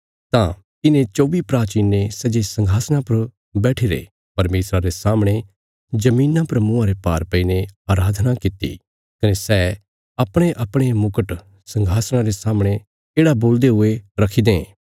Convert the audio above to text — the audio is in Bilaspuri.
तां इन्हें चौबी प्राचीनें सै जे संघासणा पर बैट्ठीरे परमेशरा रे सामणे धरतिया पर मुँआ रे भार पैईने अराधना कित्ती कने सै अपणेअपणे मुकट संघासणा रे सामणे येढ़ा बोलदे हुये रखी दें